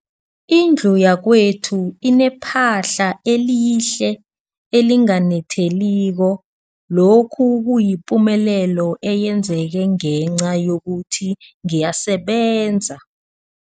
Indlu yakwethu inephahla elihle, elinganetheliko, lokhu kuyipumelelo eyenzeke ngenca yokuthi ngiyasebenza.